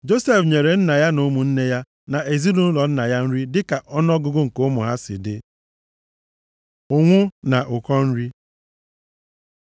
Josef nyere nna ya na ụmụnne ya na ezinaụlọ nna ya nri dịka ọnụọgụgụ nke ụmụ ha si dị. Ụnwụ na ụkọ nri